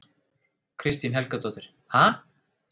Kristín Helgadóttir: Ha?